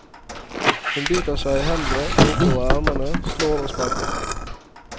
Hun biter seg i hendene og oppover ermene, slår og sparker.